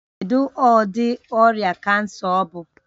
Kedu ụdị ọrịa kansa ọ bụ?